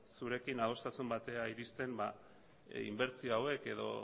zurekin adostasun batera iristen inbertsio hauek edo